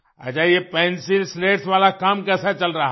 अच्छा ये pencil slates वाला काम कैसा चल रहा है